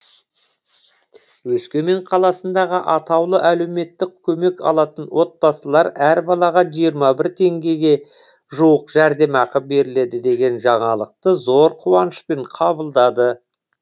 өскемен қаласындағы атаулы әлеуметтік көмек алатын отбасылар әрбір балаға жиырма бір мың теңгеге жуық жәрдемақы беріледі деген жаңалықты зор қуанышпен қабылдады